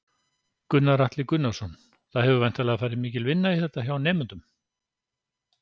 Gunnar Atli Gunnarsson: Það hefur væntanlega farið mikil vinna í þetta hjá nemendum?